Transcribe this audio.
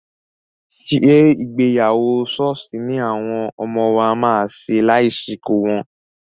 Ṣé ìgbéyàwó ṣọ́ọ̀ṣì ni àwọn ọmọ wa máa ṣe lásìkò wọn?